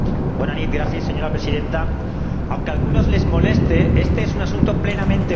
Señora Presidenta, aunque a algunos les moleste, este es un asunto plenamente europeo.